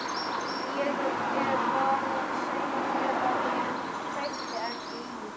Ég var að segja þér að ég kveikti ekki í.